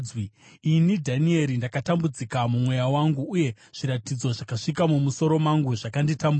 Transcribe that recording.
“Ini Dhanieri ndakatambudzika mumweya wangu, uye zviratidzo zvakasvika mumusoro mangu zvakanditambudza.